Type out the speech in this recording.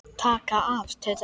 Taka af. tautaði Siggi.